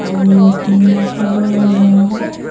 ଆଉ ନଖାଇଲେ ହବ!